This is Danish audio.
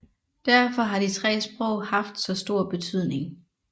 Derfor har de tre sprog haft så stor betydning